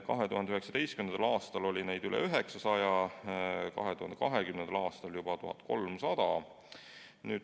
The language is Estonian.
2019. aastal oli neid üle 900, 2020. aastal juba 1300.